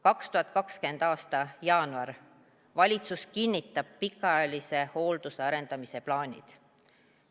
2020. aasta jaanuaris kinnitas valitsus pikaajalise hoolduse arendamise plaanid.